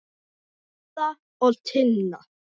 Edda og Tinna.